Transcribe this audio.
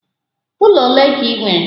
Ụlọ ole ka ị nwere?